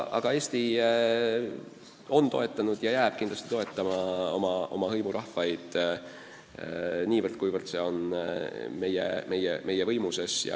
Aga Eesti on toetanud ja jääb edaspidigi toetama oma hõimurahvaid niivõrd, kuivõrd see on meie võimuses.